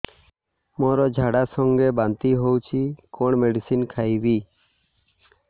ମୋର ଝାଡା ସଂଗେ ବାନ୍ତି ହଉଚି କଣ ମେଡିସିନ ଖାଇବି